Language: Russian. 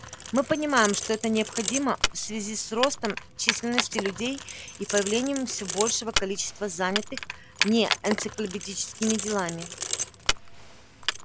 мы понимаем что это необходимо в связи с ростом численности людей и появлением все большего количества занятых не энциклопедическими делами